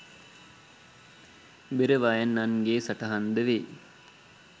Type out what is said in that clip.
බෙර වයන්නන්ගේ සටහන්ද වෙයි